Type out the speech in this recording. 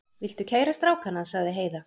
Viltu keyra strákana, sagði Heiða.